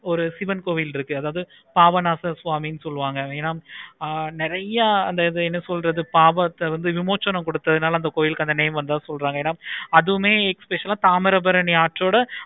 ஒரு சிவன் கோவிலே இருக்கு. அதாவது பாபநாசம் சாமி சொல்லுவாங்க ஆஹ் நெறைய அந்த என்ன சொல்றது பாபநாசம் வந்து விமர்சனம் கொடுத்ததுனால அந்த name வந்த சொல்றாங்க